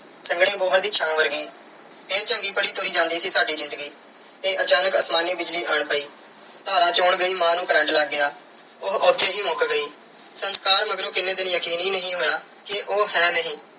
ਸੰਘਣੀ ਬੋਹੜ ਦੀ ਛਾਂ ਵਰਗੀ। ਇੰਝ ਚੰਗੀ ਭਲੀ ਤੁਰੀ ਜਾਂਦੀ ਸੀ ਸਾਡੀ ਜ਼ਿੰਦਗੀ ਤੇ ਅਚਾਨਕ ਅਸਮਾਨੀ ਬਿਜਲੀ ਆਣ ਪਈ। ਧਾਰਾਂ ਚੋਣ ਗਈ ਮਾਂ ਨੂੰ current ਲੱਗ ਗਿਆ। ਉਹ ਉੱਥੇ ਹੀ ਮੁੱਕ ਗਈ। ਸੰਸਕਾਰ ਮਗਰੋਂ ਕਿੰਨੇ ਦਿਨ ਯਕੀਨ ਹੀ ਨਹੀਂ ਹੋਇਆ ਕਿ ਉਹ ਹੈ ਨਹੀਂ।